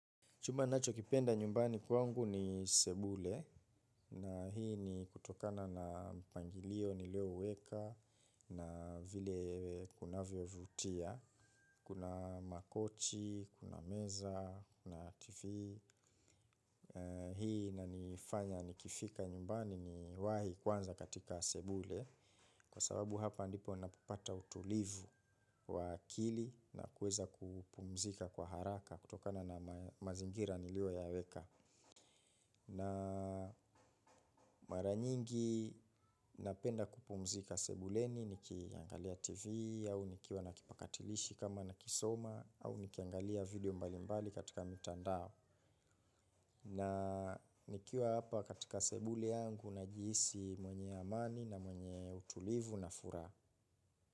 Chumba ninachokipenda nyumbani kwangu ni sebule na hii ni kutokana na mpangilio niliouweka na vile kunavyo vutia. Kuna makochi, kuna meza, kuna tv. Hii inanifanya nikifika nyumbani niwahi kwanza katika sebule kwa sababu hapa ndipo ninapopata utulivu wa akili na kuweza kupumzika kwa haraka kutokana na mazingira nilioyaweka. Na mara nyingi napenda kupumzika sebuleni nikiangalia tv au nikiwa na kipakatilishi kama nakisoma au nikiangalia video mbalimbali katika mitandao na nikiwa hapa katika sebule yangu najiisi mwenye amani na mwenye utulivu na furaha.